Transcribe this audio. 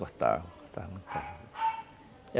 Cortava, cortava muito bem.